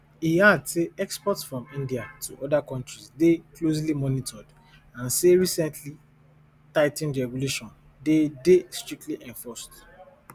e add say exports from india to oda countries dey closely monitored and say recently tigh ten ed regulation dey dey strictly enforced